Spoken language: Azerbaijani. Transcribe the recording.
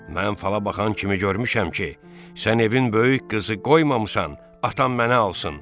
Mən fala bakan kimi görmüşəm ki, sən evin böyük qızı qoymamısan atam mənə alsın.